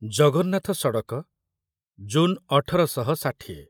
ଜଗନ୍ନାଥ ସଡ଼କ ଜୁନ ଅଠର ଶହ ଷାଠିଏ